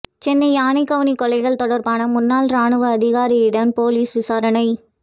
சென்னை யானைக்கவுனி கொலைகள் தொடர்பான முன்னாள் ராணுவ அதிகாரியிடம் போலீஸ் விசாரணை